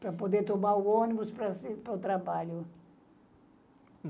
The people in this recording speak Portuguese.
para poder tomar o ônibus para se para o trabalho.